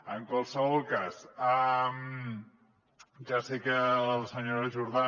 en qualsevol cas ja sé que la senyora jordà